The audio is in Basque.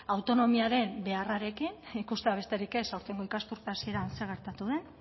autonomiaren beharrarekin ikustea besterik ez aurtengo ikasturte hasieran zer gertatu den